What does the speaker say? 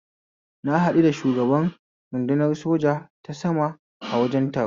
Na haɗu da shugaban rudunar soja ta sama a wajen taro